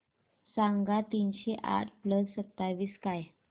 सांगा तीनशे आठ प्लस सत्तावीस काय